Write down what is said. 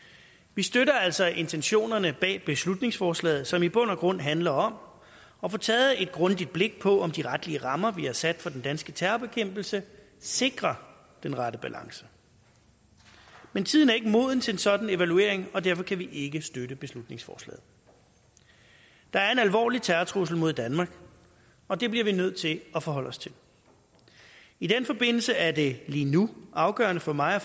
vi støtter altså intentionerne bag beslutningsforslaget som i bund og grund handler om at få taget et grundigt blik på om de retlige rammer vi har sat for den danske terrorbekæmpelse sikrer den rette balance men tiden er ikke moden til en sådan evaluering og derfor kan vi ikke støtte beslutningsforslaget der er en alvorlig terrortrussel mod danmark og det bliver vi nødt til at forholde os til i den forbindelse er det lige nu afgørende for mig og